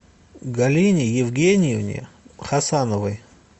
галине евгеньевне хасановой